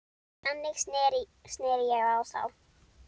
Þannig sneri ég á þá.